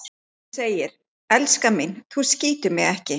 Hún segir: Elskan mín, þú skýtur mig ekki